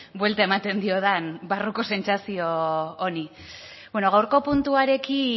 buelta ematen diodan barruko sentsazio honi bueno gaurko puntuarekin